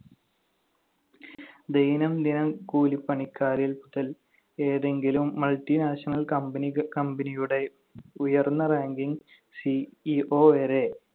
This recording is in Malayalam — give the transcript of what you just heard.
ദൈനംദിനം കൂലിപ്പണിക്കാരില്‍ ഏതെങ്കിലും multinational company ക company യുടെ ഉയർന്ന ranking CEO വരെ